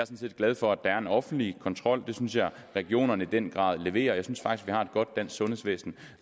set glad for at der er en offentlig kontrol det synes jeg at regionerne i den grad leverer jeg synes faktisk vi har et godt dansk sundhedsvæsen